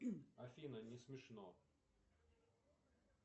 афина не смешно